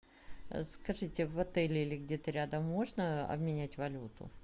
скажите в отеле или где то рядом можно обменять валюту